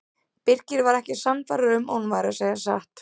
Birkir var ekki sannfærður um að hún væri að segja satt.